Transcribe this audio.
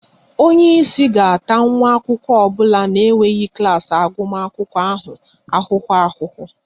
Onye isi ga-ata nwa akwụkwọ ọ bụla na-enweghị klas agụmakwụkwọ anụ ahụ ahụhụ